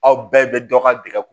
Aw bɛɛ bɛ dɔ ka dege